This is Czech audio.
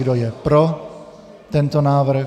Kdo je pro tento návrh?